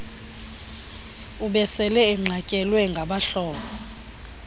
ubesele enqatyelwe ngabahlobo